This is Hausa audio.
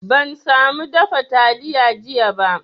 Ban samu dafa taliya jiya ba